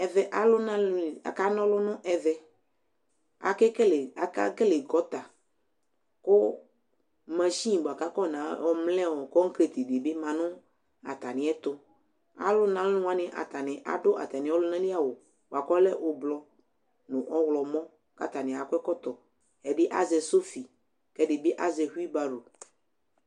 Ɛʋɛ aka ŋɔlʊ, akekele gɔta kuvmashɩnɩ bʊakʊ aƴɔ ŋamlɛkɔgret dibi ma ŋʊ ata mɩ ɛtʊ Alʊ ŋɔlʊ wanɩ adʊ atamɩvɔlʊŋalɩ awʊ ɓʊakʊvɔlɛ ʊɓlɔɔ ŋʊ ɔwlɔmɔ kataŋi akɔ zƙɔtɔ Ɛdɩ azɛ sofɩ kɛdibɩ azɛ hʊɩbaro